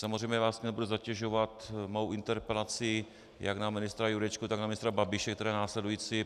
Samozřejmě vás nebudu zatěžovat svou interpelací jak na ministra Jurečku, tak na ministra Babiše, která je následující.